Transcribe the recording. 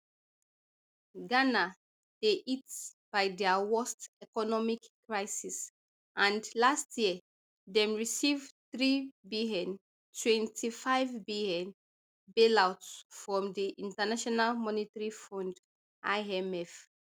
ghana dey hit by dia worst economic crisis and last year dem receive threebn twenty-fivebn bailout from di international monetary fund imf